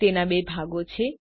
તેના બે ભાગો છે